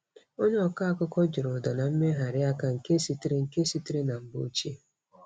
Onye ọkọ akụkọ jiri ụda na mmegharị aka nke sitere nke sitere na mgbe ochie.